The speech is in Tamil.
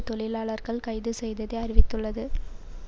தொழிலாளர்கள் கைது செய்ததை அறிவித்துள்ளது